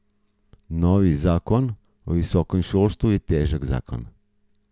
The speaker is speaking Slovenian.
Novi zakon o visokem šolstvu je težak zakon.